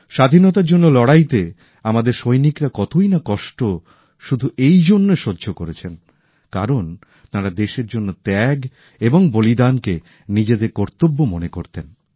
স্বাধীনতার জন্য লড়াইতে আমাদের সৈনিকরা কতই না কষ্ট শুধু এইজন্য সহ্য করেছেন কারণ তাঁরা দেশের জন্য ত্যাগ এবং বলিদানকে নিজেদের কর্তব্য মনে করতেন